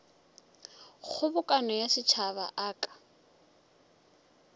kgobokano ya setšhaba a ka